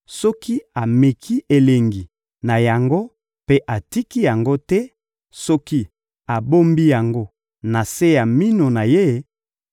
soki ameki elengi na yango mpe atiki yango te, soki abombi yango na se ya minu na ye,